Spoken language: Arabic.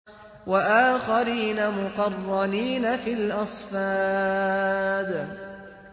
وَآخَرِينَ مُقَرَّنِينَ فِي الْأَصْفَادِ